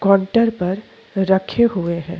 Counter पर रखे हुए है।